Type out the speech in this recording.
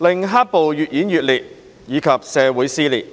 令黑暴越演越烈及社會撕裂。